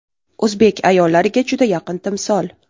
O‘zbek ayollariga juda yaqin timsol.